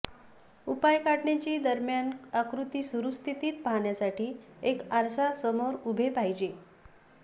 उपाय काढण्याची दरम्यान आकृती सुरू स्थितीत पाहण्यासाठी एक आरसा समोर उभे पाहिजे